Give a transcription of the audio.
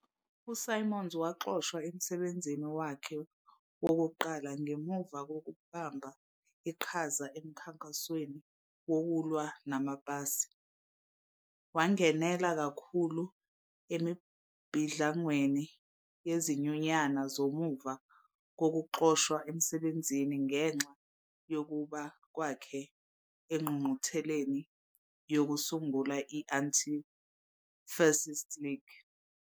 USimons waxoshwa emsebenzini wakhe wokuqala ngemuva kokubamba iqhaza emkhankasweni wokulwa namapasi. Wangenela kakhulu emibhidlangweni yezinyunyana ngemuva kokuxoshwa emsebenzini ngenxa yokuya kwakhe engqungqutheleni yokusungula i-Anti-Fascist League.